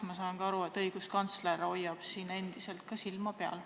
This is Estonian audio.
Ma saan aru, et õiguskantsler hoiab siin ka endiselt silma peal.